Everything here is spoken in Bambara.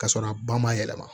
K'a sɔrɔ a ba ma yɛlɛma